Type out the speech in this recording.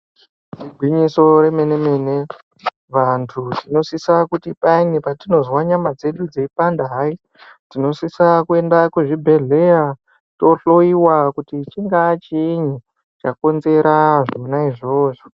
Igwinyiso remene-mene, vantu vanosisa kuti payani petinozwa nyama dzedu dzeipanda hai, tinosisa kuenda kuzvibhedhlera tohloyiwa kuti chingaa chiini chakonzera zvona izvozvo.